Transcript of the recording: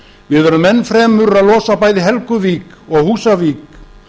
við verðum enn fremur að losa bæði helguvík og húsavík